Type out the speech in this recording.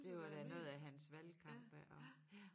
Det var da noget af hans valgkamp ja også